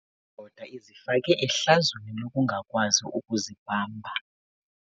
Le ndoda izifake ehlazweni lokungakwazi ukuzibamba.